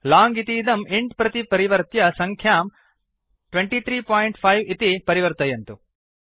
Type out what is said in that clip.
लोंग इतीदं इन्ट् प्रति परिवर्त्य सङ्ख्यां 235 इति परिवर्तयन्तु